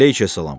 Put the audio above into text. Əleyküssalam.